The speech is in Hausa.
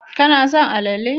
Kana son alale